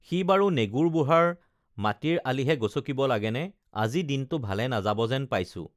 সি বাৰু নেগুৰ বুঢ়াৰ মাটিৰ আলিহে গচকিব লাগেনে আজি দিনটো ভালে নাযাবা যেন পাইছোঁ